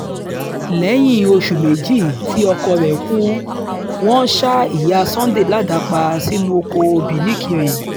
lẹ́yìn oṣù méjì tí ọkọ rẹ̀ kú wọ́n ṣa ìyá sunday ládàá pa sínú ọkọ̀ òbí nìkire